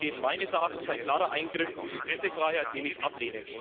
Dies ist meines Erachtens ein klarer Eingriff in die Pressefreiheit, den ich ablehne.